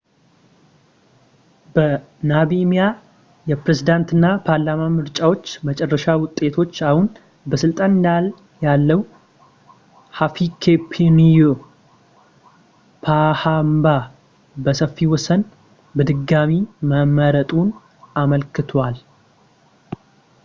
የናሚቢያ የፕሬዝዳንት እና ፓርላማ ምርጫዎች የመጨረሻ ውጤቶች አሁን በስልጣን ላይ ያለው ሂፊኬፑንዬ ፖሃምባ በሰፊ ወሰን በድጋሚ መመረጡን አመልክቷል